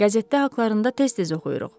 Qəzetdə haqlarında tez-tez oxuyuruq.